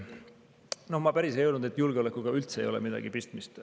No ma päris seda ei öelnud, et julgeolekuga üldse ei ole midagi pistmist.